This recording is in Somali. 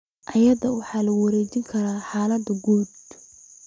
Iyada oo waxa lagu wareejin karo xaaladaha guud.